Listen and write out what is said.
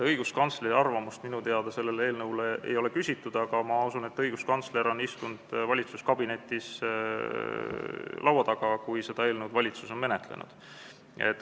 Õiguskantsleri arvamust minu teada selle eelnõu kohta ei ole küsitud, aga ma usun, et õiguskantsler on istunud valitsuskabinetis laua taga, kui valitsus on seda eelnõu menetlenud.